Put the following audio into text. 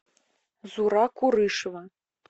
зура курышева